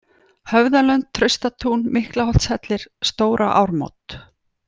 Höfðalönd, Traustatún, Miklaholtshellir, Stóra-Ármót